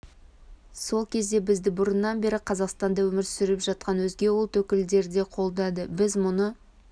сол кезде бізді бұрыннан бері қазақстанда өмір сүріп жатқан өзге ұлт өкілдері де қолдады біз мұны